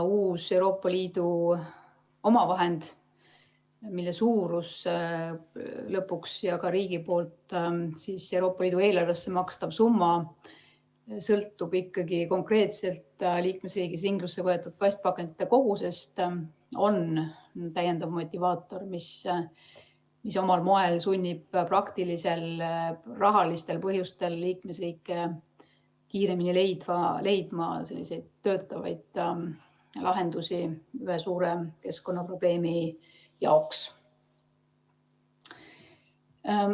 Uus Euroopa Liidu omavahend, mille suurus ja ka riigi poolt Euroopa Liidu eelarvesse makstav summa sõltub ikkagi konkreetselt liikmesriigis ringlusse võetud plastpakendite kogusest, on täiendav motivaator, mis omal moel sunnib praktilistel, rahalistel põhjustel liikmesriike kiiremini leidma töötavaid lahendusi ühe suure keskkonnaprobleemi jaoks.